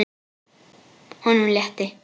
Honum létti.